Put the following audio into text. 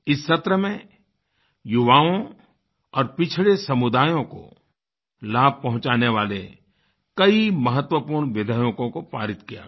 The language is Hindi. इस सत्र में युवाओं और पिछड़े समुदायों को लाभ पहुँचाने वाले कई महत्वपूर्ण विधेयकों को पारित किया गया